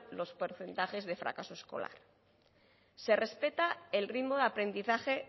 los porcentajes de fracaso escolar se respeta el ritmo de aprendizaje